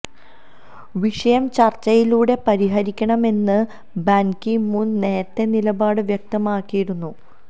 വിഷയം ചര്ച്ചയിലൂടെ പരിഹരിക്കണമെന്ന് ബാന് കി മൂണ് നേരത്തെ നിലപാട് വ്യക്തമാക്കിയിരുന്നു